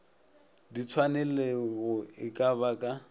ditshwanelego e ka ba ka